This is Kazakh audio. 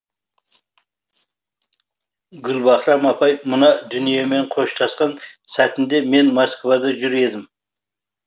гүлбаһрам апай мына дүниемен қоштасқан сәтінде мен москвада жүр едім